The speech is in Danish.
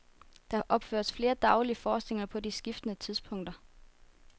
Der opføres flere daglige forestillinger på skiftende tidspunkter.